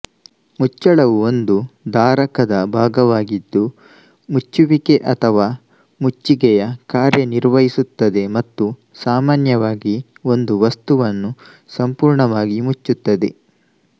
ಮುಚ್ಚಳವು ಒಂದು ಧಾರಕದ ಭಾಗವಾಗಿದ್ದು ಮುಚ್ಚುವಿಕೆ ಅಥವಾ ಮುಚ್ಚಿಗೆಯ ಕಾರ್ಯನಿರ್ವಹಿಸುತ್ತದೆ ಮತ್ತು ಸಾಮಾನ್ಯವಾಗಿ ಒಂದು ವಸ್ತುವನ್ನು ಸಂಪೂರ್ಣವಾಗಿ ಮುಚ್ಚುತ್ತದೆ